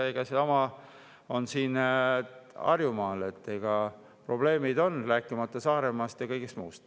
Ega sama on siin Harjumaal, probleemid on, rääkimata Saaremaast ja kõigest muust.